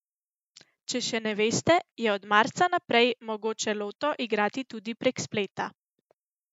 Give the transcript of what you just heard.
Če še ne veste, je od marca naprej mogoče loto igrati tudi prek spleta.